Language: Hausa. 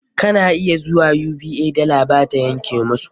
Kana iya zuwa UBA, dala ba ta yanke musu.